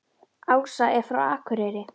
Ása er frá Akureyri.